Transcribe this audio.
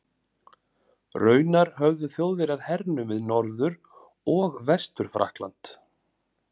Raunar höfðu Þjóðverjar hernumið Norður- og Vestur-Frakkland.